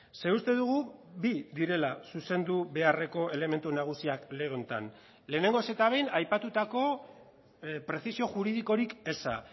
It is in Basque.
ze uste dugu bi direla zuzendu beharreko elementu nagusiak lege honetan lehenengoz eta behin aipatutako prezisio juridikorik eza